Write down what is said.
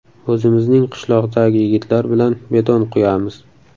O‘zimizning qishloqdagi yigitlar bilan beton quyamiz.